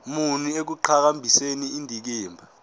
muni ekuqhakambiseni indikimba